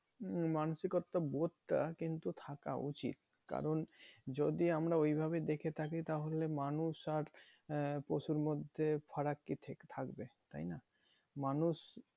উম মানষিকতা বোধটা কিন্তু থাকা উচিত কারণ যদি আমরা ওইভাবে দেখে থাকি তাহলে মানুষ আর আহ পশুর মধ্যে ফারাক কি থাকবে তাই না? মানুষ